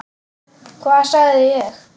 Hvað sagði ég?